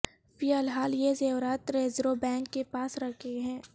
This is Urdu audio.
فی الحال یہ زیورات ریزرو بینک کے پاس رکھے ہیں